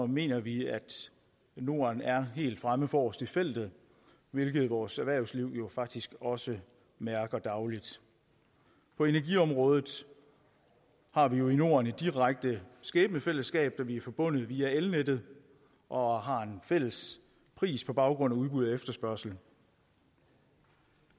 mener vi at norden er helt fremme forrest i feltet hvilket vores erhvervsliv faktisk også mærker dagligt på energiområdet har vi jo i norden et direkte skæbnefællesskab da vi er forbundet via elnettet og har en fælles pris på baggrund af udbud og efterspørgsel